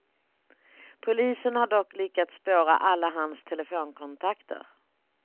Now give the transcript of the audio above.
Polisen har dock lyckats spåra alla hans telefonkontakter.